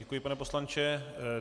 Děkuji, pane poslanče.